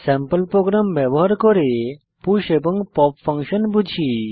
sample program ব্যবহার করে push এবং পপ ফাংশন বুঝি